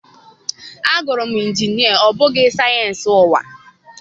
Agụrụ m injinia ọ bụghị sayensị ụwa.